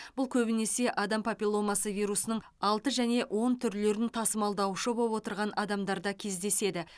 бұл көбінесе адам папилломасы вирусының алты және он түрлерін тасымалдаушы боп отырған адамдарда кездеседі